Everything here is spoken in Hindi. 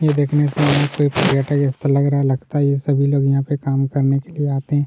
नहीं देखने से मुझे कोई ऐसा रिश्ता लग रहा है जहां पर सभी लोग काम करने के लिए आते हैं।